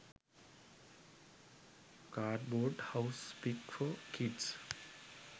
cardboard house pic for kids